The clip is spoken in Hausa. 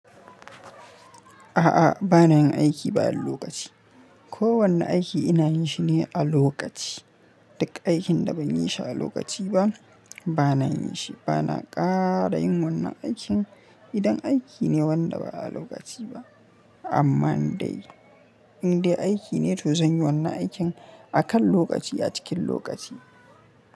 A'a, ba na yin aiki ba a lokaci. Ko wanne aiki ina yin shi ne a lokaci. Duk aikin da ban yi shi a lokaci ba, ba na yin shi. Ba na ƙara yin wannan aikin idan aiki ne wanda ba a lokaci ba. Amma in dai, in dai aiki ne to zan yi wannan aikin akan lokaci a cikin lokaci.